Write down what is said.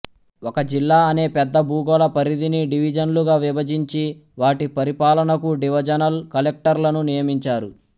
ఒక జిల్లా అనే పెద్ద భూగోళ పరిధిని డివిజన్లుగా విభజించి వాటి పరిపాలనకు డివజనల్ కలెక్టర్లను నియమించారు